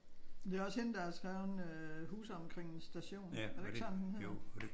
Det er også hende der har skrevet øh Huse omkring en station. Er det ikke sådan den hedder?